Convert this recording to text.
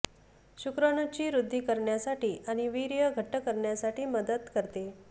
शुक्राणुंची वृद्धी करण्यासाठी आणि वीर्य घट्ट करण्यासाठी मदत करते